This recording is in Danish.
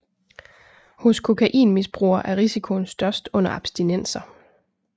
Hos kokainmisbrugere er risikoen størst under abstinenser